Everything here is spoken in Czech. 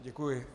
Děkuji.